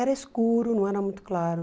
Era escuro, não era muito claro.